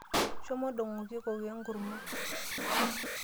Shomo ndong"oki kokoo enkurmwa.